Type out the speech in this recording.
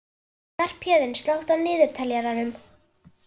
Skarphéðinn, slökktu á niðurteljaranum.